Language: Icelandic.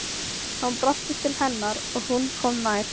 Hann brosti til hennar og hún kom nær.